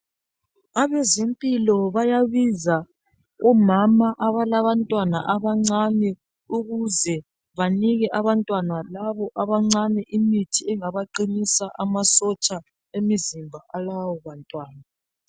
Abezempilo bayabiza omama abalabantwana abancane ukuze banike abantwana labo abancane imithi engabaqinisa amasotsha emizimba alabo bantwana.